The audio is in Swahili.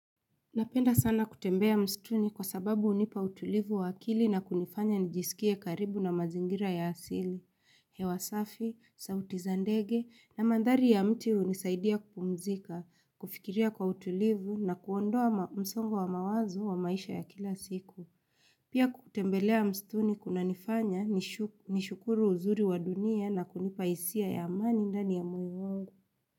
Napenda sana kutembea mstuni kwa sababu unipa utulivu wakili na kunifanya nijisikie karibu na mazingira ya asili. Hewasafi, sauti zandege na mandhari ya mti unisaidia kumzika, kufikiria kwa utulivu na kuondoa msongo wa mawazo wa maisha ya kila siku. Pia kutembelea mstuni kuna nifanya nishukuru uzuri wa dunia na kunipa isia ya amani ndani ya moyo wangu.